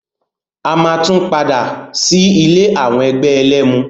A máa tún padà sí ilé àwọn ẹgbẹ́ ẹlẹ́mu.